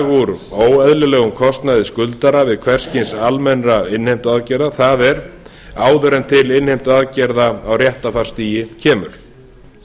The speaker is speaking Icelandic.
úr óeðlilegum kostnaði skuldara við hvers kyns almennar innheimtuaðgerðir það er áður en til innheimtuaðgerða á réttarfarsstigi kemur